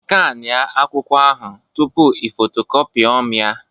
Skania akwụkwọ ahụ tupu i copyomi ya